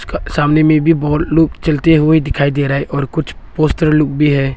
सामने में भी बहुत लोग चलते हुए दिखाई दे रहा है और कुछ पोस्टर लोग भी है।